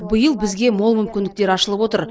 биыл бізге мол мүмкіндіктер ашылып отыр